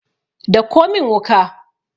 dauko min wuka!